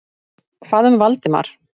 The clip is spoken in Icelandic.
Hvað um Valdimar?